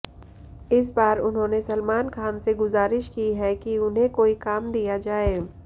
इस बार उन्होंने सलमान खान से गुजारिश की है कि उन्हें कोई काम दिया जाए